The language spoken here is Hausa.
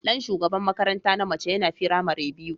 Dan shugaban makaranta na mace yana firamare biyu.